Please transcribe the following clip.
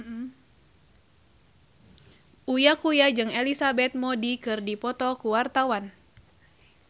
Uya Kuya jeung Elizabeth Moody keur dipoto ku wartawan